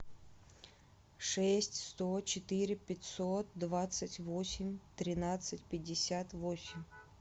шесть сто четыре пятьсот двадцать восемь тринадцать пятьдесят восемь